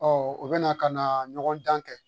u bɛ na ka na ɲɔgɔn dan kɛ